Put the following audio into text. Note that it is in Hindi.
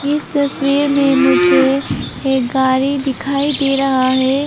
इस तस्वीर में मुझे एक गाड़ी दिखाई दे रहा हैं।